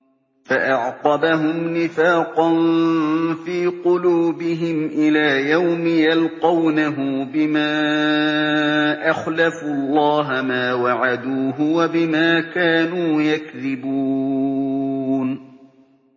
فَأَعْقَبَهُمْ نِفَاقًا فِي قُلُوبِهِمْ إِلَىٰ يَوْمِ يَلْقَوْنَهُ بِمَا أَخْلَفُوا اللَّهَ مَا وَعَدُوهُ وَبِمَا كَانُوا يَكْذِبُونَ